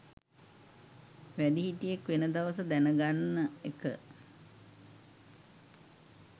වැඩිහිටියෙක් වෙන දවස දැන ගන්න එක